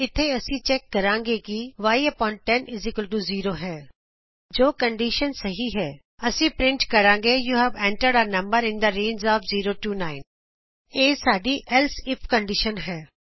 ਇਥੇ ਅਸੀਂ ਚੈਕ ਕਰਾਂਗੇ ਕੀ y100 ਹੈ ਜੇ ਕੰਡੀਸ਼ਨ ਸਹੀ ਹੈ ਅਸੀਂ ਪਰਿੰਟ ਕਰਾਂਗੇ you have entered a number in the range of 0 9 ਇਹ ਸਾਡੀ ਏਲਸ ਇਫ ਕੰਡੀਸ਼ਨ ਹੈ